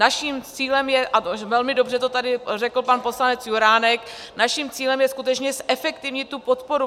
Naším cílem je - a velmi dobře to tady řekl pan poslanec Juránek - naším cílem je skutečně zefektivnit tu podporu.